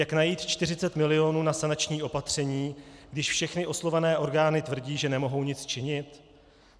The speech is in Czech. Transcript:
Jak najít 40 milionů na sanační opatření, když všechny oslovené orgány tvrdí, že nemohou nic činit?